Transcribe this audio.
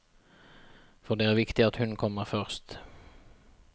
For det er viktig at hun kommer først.